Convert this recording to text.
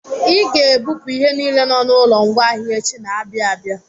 I ga-ebupụ ihe niile nọ n'ụlọ ngwaahịa echi na-abịa abịa!